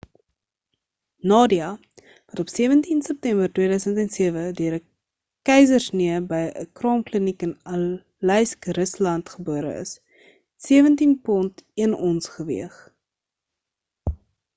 nadia wat op 17 september 2007 deur 'n keisersnee by 'n kraamkliniek in aleisk rusland gebore is het 17 pond 1 ons geweeg